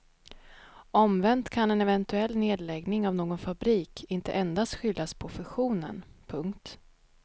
Omvänt kan en eventuell nedläggning av någon fabrik inte endast skyllas på fusionen. punkt